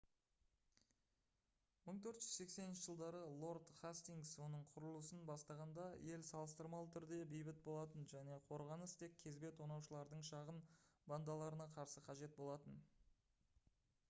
1480 жылдары лорд хастингс оның құрылысын бастағанда ел салыстырмалы түрде бейбіт болатын және қорғаныс тек кезбе тонаушылардың шағын бандаларына қарсы қажет болатын